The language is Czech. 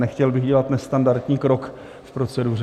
Nechtěl bych dělat nestandardní krok v proceduře.